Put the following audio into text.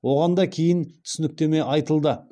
оған да кейін түсініктеме айтылды